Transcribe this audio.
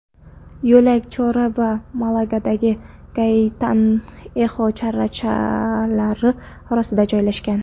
Yo‘lak Chorro va Malagadagi Gaytanexo sharsharalari orasida joylashgan.